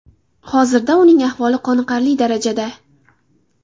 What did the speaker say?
Hozirda uning ahvoli qoniqarli darajada.